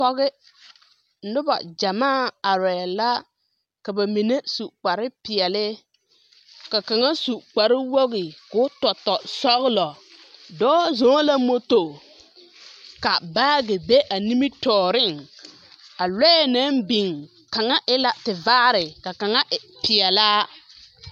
Noba gyamaa arɛɛ la ak aba mine su kpare peɛle ka kaŋa su kpare wogi ka o yɔtɔ sɔgelɔ. Dɔɔ zɔŋ la moto ka baage be a nimitɔɔreŋ. A lɔɛ na`biŋ, kaŋa e la tevaare ka kaŋa e peɛlaa.